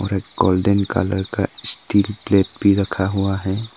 Golden colour का steel plate रखा हुआ है।